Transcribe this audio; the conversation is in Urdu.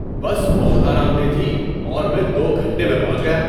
بس بہت آرام دہ تھی اور میں دو گھنٹے میں پہنچ گیا۔